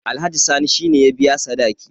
alhaji sani shi ne ya biya sadaki